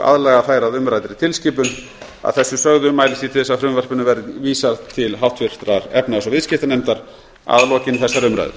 aðlaga þær að umræddri tilskipun að þessu sögðu mælist ég til þess að frumvarpinu verði vísað til háttvirtrar efnahags og viðskiptanefndar að lokinni þessari umræðu